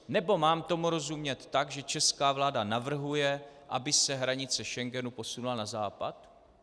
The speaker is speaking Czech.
Nebo tomu mám rozumět tak, že česká vláda navrhuje, aby se hranice Schengenu posunula na západ?